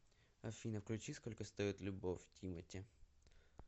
афина включи сколько стоит любовь тимати